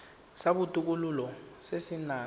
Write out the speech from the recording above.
sa botokololo se se nang